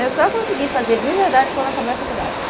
Eu só consegui fazer de verdade quando acabei a faculdade.